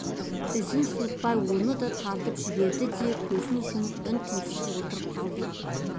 Ізін суытпай оны да тартып жіберді де көзін жұмып үн-түнсіз отырып қалды